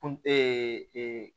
Kun